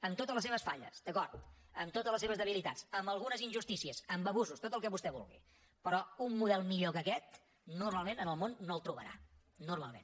amb totes les seves falles d’acord amb totes les seves debilitats amb algunes injustícies amb abusos tot el que vostè vulgui però un model millor que aquest normalment en el món no el trobarà normalment